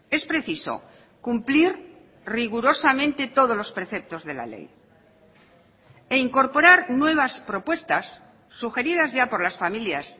es preciso cumplir rigurosamente todos los preceptos de la ley e incorporar nuevas propuestas sugeridas ya por las familias